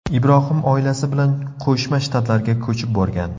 Ibrohim oilasi bilan Qo‘shma Shtatlarga ko‘chib borgan.